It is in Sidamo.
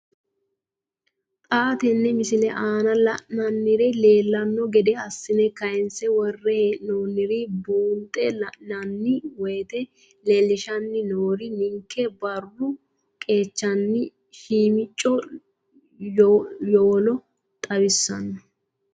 Xa tenne missile aana la'nara leellanno gede assine kayiinse worre hee'noonniri buunxe la'nanni woyiite leellishshanni noori ninkera baaru qaccenna shiimicco yowolo xawissanno.